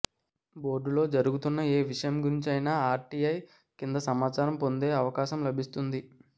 బోర్డులో జరుగుతున్న ఏ విషయం గురించి అయినా ఆర్టీఐ కింద సమాచారం పొందే అవకాశం లభిస్తుంది